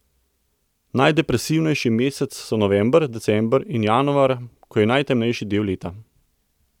Najdepresivnejši meseci so november, december in januar, ko je najtemnejši del leta.